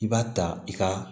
I b'a ta i ka